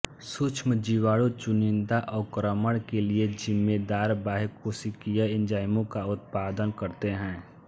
सूक्ष्मजीवाणु चुनिंदा अवक्रमण के लिये जिम्मेदार बाह्यकोशिकीय एंजाइमों का उत्पादन करते हैं